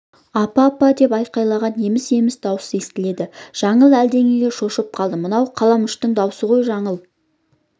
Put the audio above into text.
апа апа деп айқайлаған еміс-еміс дауыс естіледі жаңыл әлденеге шошып қалды мынау қаламүштің даусы ғой жаңыл